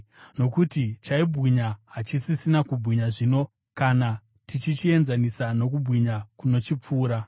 Nokuti chaibwinya hachisisina kubwinya zvino kana tichichienzanisa nokubwinya kunochipfuura.